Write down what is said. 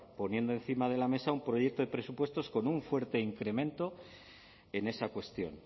poniendo encima de la mesa un proyecto de presupuestos con un fuerte incremento en esa cuestión